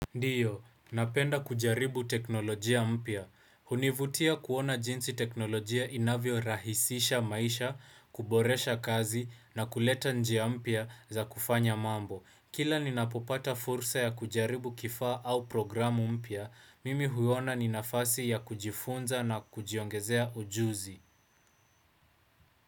Ndiyo, napenda kujaribu teknolojia mpya. Hunivutia kuona jinsi teknolojia inavyo rahisisha maisha, kuboresha kazi na kuleta njia mpia za kufanya mambo. Kila ninapopata fursa ya kujaribu kifaa au programu mpia, mimi huona ni nafasi ya kujifunza na kujiongezea ujuzi.